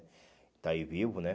está aí vivo, né?